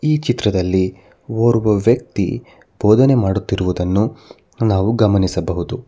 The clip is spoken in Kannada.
ಈ ಚಿತ್ರದಲ್ಲಿ ಓರ್ವ ವ್ಯಕ್ತಿ ಭೋದನೆ ಮಾಡುತ್ತಿರುವದನ್ನು ನಾವು ಗಮನಿಸಬಹುದು.